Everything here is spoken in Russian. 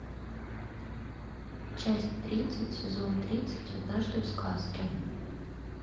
часть тридцать сезон тридцать однажды в сказке